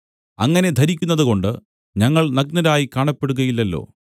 അങ്ങനെ ധരിക്കുന്നതുകൊണ്ട് ഞങ്ങൾ നഗ്നരായി കാണപ്പെടുകയില്ലല്ലോ